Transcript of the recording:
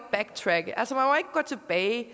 gå tilbage